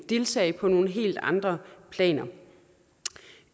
deltage på nogle helt andre planer